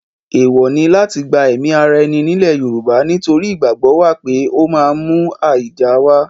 Èèwọ̀ ni láti gba ẹ̀ẹ̀mí ara ẹni nílẹ̀ Yorùbá nítorí ìgbàgbọ́ wà pé ó máa ń mú àìda wá.